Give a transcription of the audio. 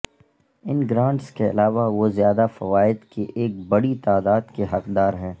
ان grants کے علاوہ وہ زیادہ فوائد کی ایک بڑی تعداد کے حقدار ہیں